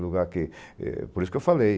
que, eh, por isso que eu falei.